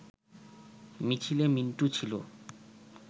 মিছিলে মিন্টু ছিল